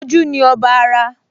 Ojú ni ọba ara